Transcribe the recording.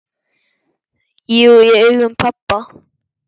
Jú, í augum pabba